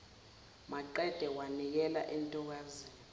maqede wanikela entokazini